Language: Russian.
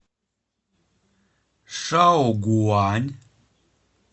шаогуань